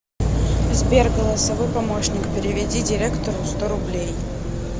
сбер голосовой помощник переведи директору сто рублей